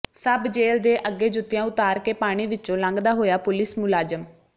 ਸਬ jail ਦੇ ਅੱਗੇ ਜੁੱਤੀਆਂ ਉਤਾਰ ਕੇ ਪਾਣੀ ਵਿੱਚੋਂ ਲੰਘਦਾ ਹੋਇਆ ਪੁਲੀਸ ਮੁਲਾਜ਼ਮ